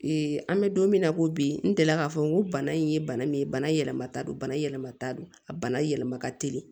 an bɛ don min na ko bi n delila k'a fɔ ko bana in ye bana min ye bana yɛlɛma ta don bana yɛlɛmata don a bana yɛlɛma ka teli